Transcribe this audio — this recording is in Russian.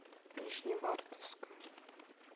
нижневартовска